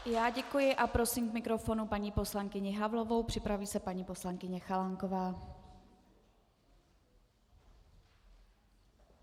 Já děkuji a prosím k mikrofonu paní poslankyni Havlovou, připraví se paní poslankyně Chalánková.